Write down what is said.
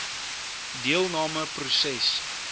deelnam e proses